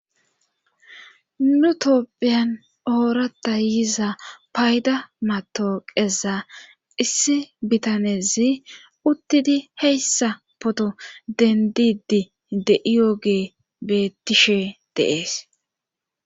Nu toopphiyan oorata yiza payda matooqeza issi bitanezi uttidi heyssa poto dendidi de7iyoge bettishe deees.